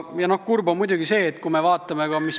Kurb on muidugi see, et kui me vaatame, mis toimub ...